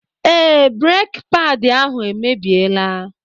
Ee, breki paadi ahụ emebiela.